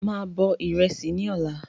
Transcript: Máa bọ̀ ìrẹsì ni ọ̀la